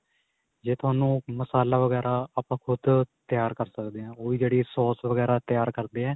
ਜੇ ਤੁਹਾਨੂੰ ਮਸਾਲਾ ਵਗੈਰਾ ਆਪਾਂ ਖੁੱਦ ਤਿਆਰ ਕ਼ਰ ਸਕਦੇ ਆਂ ਉਹੀ ਜਿਹੜੀ ਸੋਸ ਵਗੈਰਾ ਤਿਆਰ ਕਰਦੇ ਏ